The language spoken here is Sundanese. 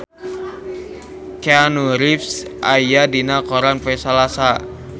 Keanu Reeves aya dina koran poe Salasa